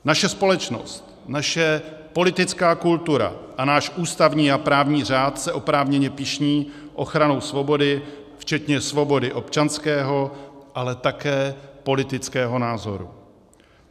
Naše společnost, naše politická kultura a náš ústavní a právní řád se oprávněně pyšní ochranou svobody, včetně svobody občanského, ale také politického názoru.